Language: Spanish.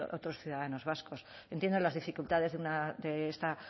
otros ciudadanos vascos entiendo las dificultades de esta